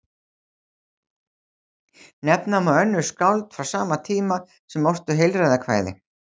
Nefna má önnur skáld frá sama tíma sem ortu heilræðakvæði.